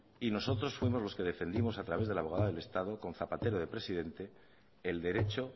y nosotros fuimos los que defendimos a través de la abogada del estado con zapatero de presidente el derecho